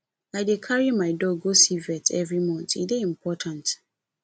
i dey carry my dog go see vet every month e dey important